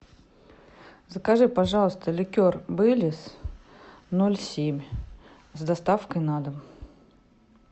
закажи пожалуйста ликер бейлис ноль семь с доставкой на дом